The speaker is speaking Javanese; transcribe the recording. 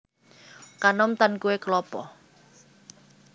Kanom tan kuwé klapa